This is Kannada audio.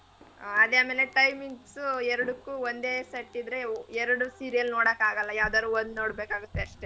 ಹಾ ಅದೇ ಆಮೇಲೆ time ಗ್ಸು ಎರಡುಕ್ಕೋ ಒಂದೇ set ಇದ್ರೆ ಎರಡು serial ನೋಡೋಕ್ ಆಗಲ್ಲ ಯಾವದಾದ್ರು ಒಂದ್ ನೋಡ್ಬೇಕಾಗುತ್ತೆ ಅಷ್ಟೇ.